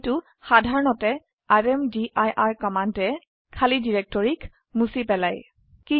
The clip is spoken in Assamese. কিন্তু সাধাৰণতে ৰ্মদিৰ কমান্ডে খালি ডিৰেক্টৰিক হে মুছি পেলাই